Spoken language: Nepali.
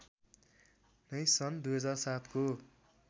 नै सन् २००७ को